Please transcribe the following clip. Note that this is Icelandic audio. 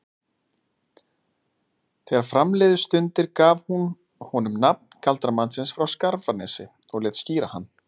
Þegar fram liðu stundir gaf hún honum nafn galdramannsins frá Skarfanesi og lét skíra hann